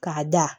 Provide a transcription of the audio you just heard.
K'a da